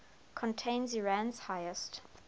contains iran's highest